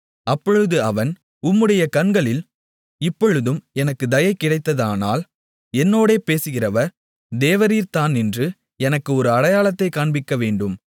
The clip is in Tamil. அப்பொழுது அவன் உம்முடைய கண்களில் இப்பொழுதும் எனக்குத் தயை கிடைத்ததானால் என்னோடே பேசுகிறவர் தேவரீர்தான் என்று எனக்கு ஒரு அடையாளத்தைக் காண்பிக்கவேண்டும்